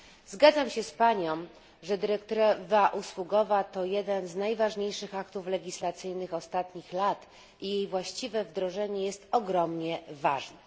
Zgadzam się z panią, że dyrektywa usługowa to jeden z najważniejszych aktów legislacyjnych ostatnich lat i jej właściwe wdrożenie jest ogromnie ważne.